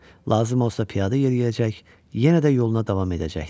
Lazım olsa piyada yeriyəcək, yenə də yoluna davam edəcəkdi.